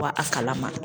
A kala ma